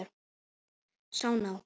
Sá ná